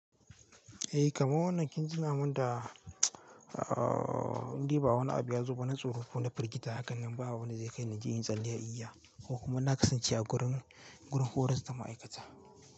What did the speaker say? Eh kamar wannan kin ji namun da indai ba wani abu ya zo ba na tsoro ko na firgita, hakan nan ba wanda zai kai ni inje inyi tsalle igiya ko kuma na kasance a gurin, gurin horar da ma'aikata.